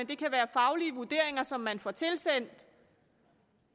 kan være faglige vurderinger som man får tilsendt